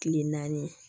Kile naani